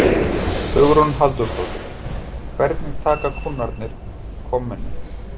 Hugrún Halldórsdóttir: Hvernig taka kúnnarnir komunni?